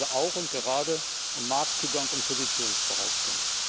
Es geht also auch und gerade um Marktzugang und Positionsbehauptung.